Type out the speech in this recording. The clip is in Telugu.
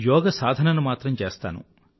యోగ సాధనను మాత్రం చేస్తాను